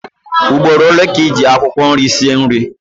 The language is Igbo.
Ugboro ole ka ị ji akwụkwọ nri sie nri?